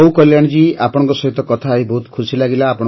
ହଉ କଲ୍ୟାଣୀ ଜୀ ଆପଣଙ୍କ ସହିତ କଥା ହୋଇ ବହୁତ ଖୁସି ଲାଗିଲା